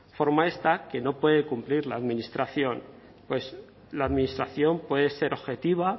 forma esta que no puede cumplir la administración pues la administración puede ser objetiva